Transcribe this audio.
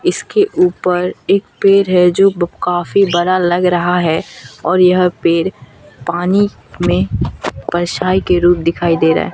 इसके ऊपर एक पेर है जो ब काफी बरा लग रहा है और यह पेर पानी में परछाई के रूप दिखाई दे रा हे।